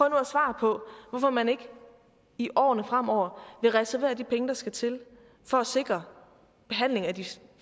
at svare på hvorfor man ikke i årene fremover vil reservere de penge der skal til for at sikre behandling af de